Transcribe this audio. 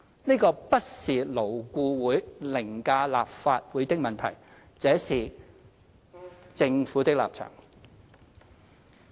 這個不是勞顧會凌駕立法會的問題，這是政府的立場。